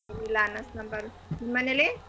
ಇಲ್ಲಿ ಅನ್ನ ಸಾಂಬಾರ್. ನಿಮ್ಮನೇಲಿ?